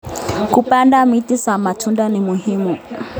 Kupanda miti za matunda ni muhimu